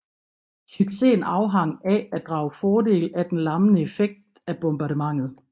Succesen afhang af at drage fordel af den lammende effekt af bombardementet